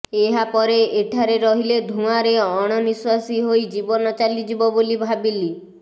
ଏହାପରେ ଏଠାରେ ରହିଲେ ଧୂଆଁରେ ଅଣନିଃଶ୍ବାସୀ ହୋଇ ଜୀବନ ଚାଲିଯିବ ବୋଲି ଭାବିଲି